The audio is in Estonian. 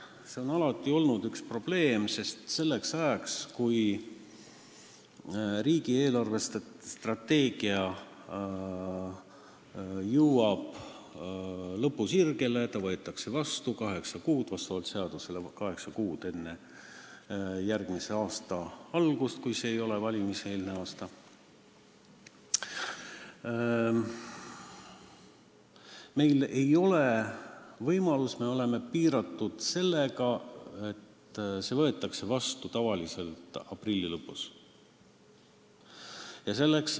See on alati olnud probleem, sest riigi eelarvestrateegia jõuab lõpusirgele ja ta võetakse vastavalt seadusele vastu kaheksa kuud enne järgmise aasta algust, kui see ei ole valimiseelne aasta, ning me oleme piiratud sellega, et strateegia võetakse tavaliselt vastu aprilli lõpus.